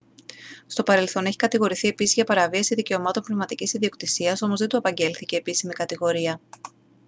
στο παρελθόν έχει κατηγορηθεί επίσης για παραβίαση δικαιωμάτων πνευματικής ιδιοκτησίας όμως δεν του απαγγέλθηκε επίσημη κατηγορία